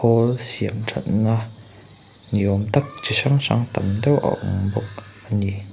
khawl siamthatna ni awm tak chi hrang hrang tam deuh a awm bawka ani.